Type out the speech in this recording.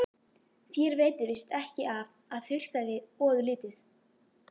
Þér veitir víst ekki af að þurrka þig ofurlítið.